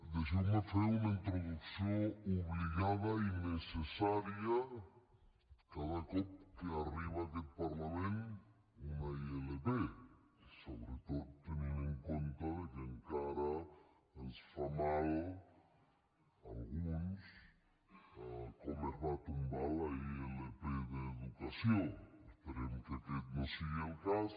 deixeu me fer una introducció obligada i necessària cada cop que arriba a aquest parlament una ilp sobretot tenint en compte que encara ens fa mal a alguns com es va tombar la ilp d’educació esperem que aquest no sigui el cas